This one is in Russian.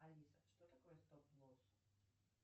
алиса что такое стоп носу